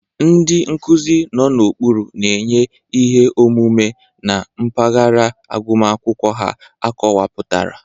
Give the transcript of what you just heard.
Ndị nkuzi nọ n'okpuru na-enye ihe ọmụma na mpaghara agụmakwụkwọ ha akọwapụtara.